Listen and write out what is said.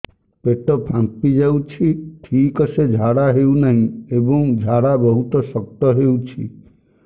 ପେଟ ଫାମ୍ପି ଯାଉଛି ଠିକ ସେ ଝାଡା ହେଉନାହିଁ ଏବଂ ଝାଡା ବହୁତ ଶକ୍ତ ହେଉଛି